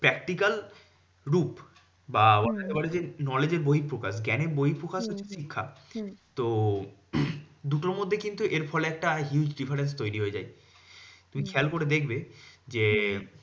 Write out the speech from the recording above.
Practical রূপ বা এবারে যে knowledge এর বহিঃপ্রকাশ। জ্ঞানের বহিঃপ্রকাশ হচ্ছে শিক্ষা। তো দুটোর মধ্যে কিন্তু এরফলে একটা huge difference তৈরী হয়ে যাচ্ছে। তুমি খেয়াল করে দেখবে যে,